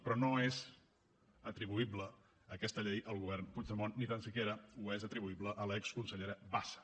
però no és atribuïble aquesta llei al govern puigdemont ni tan sols és atribuïble a l’exconsellera bassa